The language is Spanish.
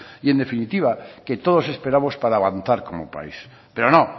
y en definitiva que todos esperamos para avanzar como país pero no